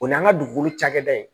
O y'an ka dugukolo cakɛda ye